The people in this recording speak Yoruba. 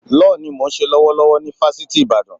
Lọ́ọ̀ ni mò ń ṣe lọ́wọ́ ni Fásitì Ìbàdàn.